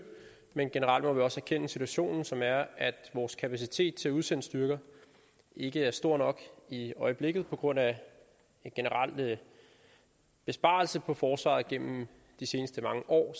men generelt må vi også erkende situationen som er at vores kapacitet til at udsende styrker ikke er stor nok i øjeblikket på grund af en generel besparelse på forsvaret gennem de seneste mange år